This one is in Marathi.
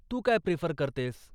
तू काय प्रिफर करतेस?